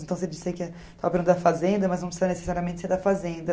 Então, fazenda, mas não precisa necessariamente ser da fazenda.